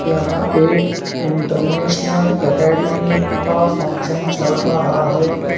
यहां एक international academy का फंक्शन चल रहा है।